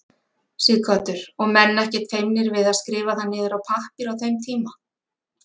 Sighvatur: Og menn ekkert feimnir við að skrifa það niður á pappír á þeim tíma?